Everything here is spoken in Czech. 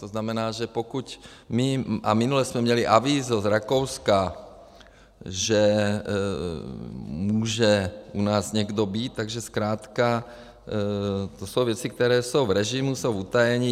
To znamená, že pokud my - a minule jsme měli avízo z Rakouska, že může u nás někdo být, takže zkrátka to jsou věci, které jsou v režimu, jsou v utajení.